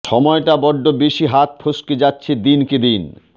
সময়টা বড্ড বেশি হাত ফস্কে যাচ্ছে দিন কে দিন